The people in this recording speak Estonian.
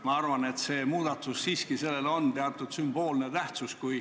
Ma arvan, et sellel muudatusel siiski on teatud sümboolne tähtsus.